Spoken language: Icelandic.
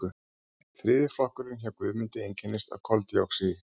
þriðji flokkurinn hjá guðmundi einkennist af koldíoxíði